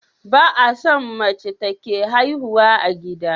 Ba a son mace take haihuwa a gida